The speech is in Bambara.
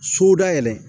So dayɛlɛ